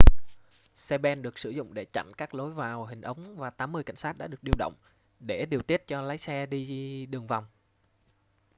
xe ben được sử dụng để chặn các lối vào hình ống và 80 cảnh sát đã được điều động để điều tiết cho lái xe đi đường vòng